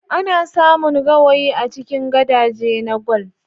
Ana samun gawayi a cikin gadaje na kwal